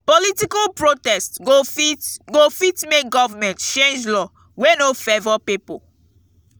political protest go fit go fit make government change law wey no favor pipo